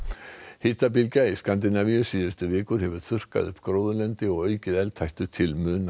hitabylgja í Skandinavíu síðustu vikur hefur þurrkað upp gróðurlendi og aukið eldhættu til muna